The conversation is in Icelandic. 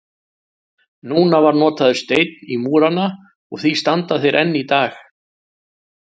Nú var notaður steinn í múrana og því standa þeir enn í dag.